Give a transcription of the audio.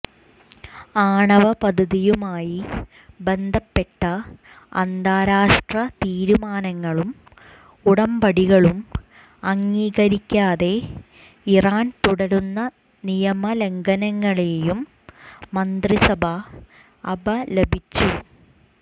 ആണവ പദ്ധതിയുമായി ബന്ധപ്പെട്ട അന്താരാഷ്ട്ര തീരുമാനങ്ങളും ഉടമ്പടികളും അംഗീകരിക്കാതെ ഇറാൻ തുടരുന്ന നിയമ ലംഘനങ്ങളെയും മന്ത്രിസഭ അപലപിച്ചു